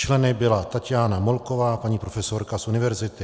Členkou byla Taťána Molková, paní profesorka z univerzity.